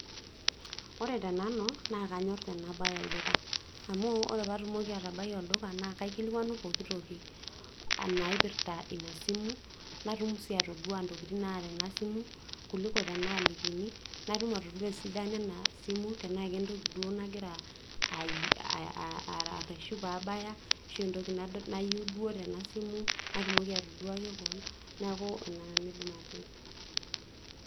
Ore tenanu naa kanyorr tenabaya olduka, ore pee abaya olduka na kaikilikuanu pooki toki naaipirta ina simu, natum sii atodua ntokitin naata naa simu kuliko tenaalikini. Natum atodua esidano ena simu tena kentoki duo nagira arreshu pee abaya, ashu entoki nayieu duoo tenaa simu, natumoki atoduaki kewon neeku ina nanu aidim atejo.